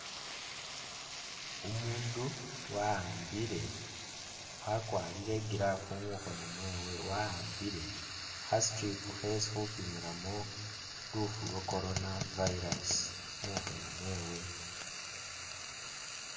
Umundu wawambile wakwalire i'gloove mukhoono mwewe wawambile kha strip khesipimilamo luufu lwa corona virus mukhoono mwewe